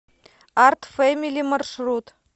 арт фэмили маршрут